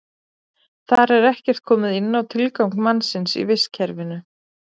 Þar er ekkert komið inn á tilgang mannsins í vistkerfinu.